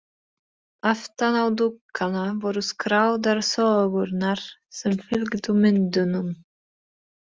Aftan á dúkana voru skráðar sögurnar sem fylgdu myndunum.